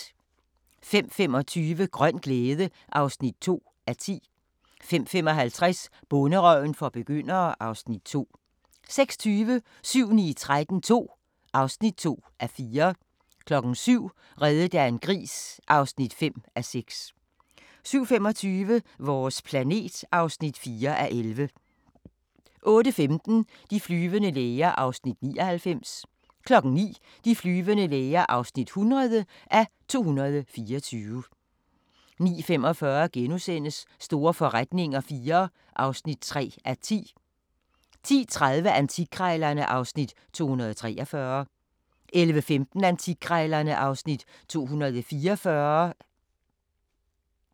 05:25: Grøn glæde (2:10) 05:55: Bonderøven for begyndere (Afs. 2) 06:20: 7-9-13 II (2:4) 07:00: Reddet af en gris (5:6) 07:25: Vores planet (4:11) 08:15: De flyvende læger (99:224) 09:00: De flyvende læger (100:224) 09:45: Store forretninger IV (3:10)* 10:30: Antikkrejlerne (Afs. 243) 11:15: Antikkrejlerne (Afs. 244)